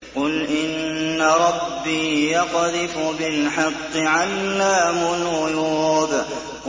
قُلْ إِنَّ رَبِّي يَقْذِفُ بِالْحَقِّ عَلَّامُ الْغُيُوبِ